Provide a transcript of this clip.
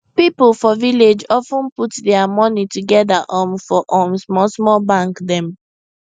people for village of ten put dia money together um for um small small bank dem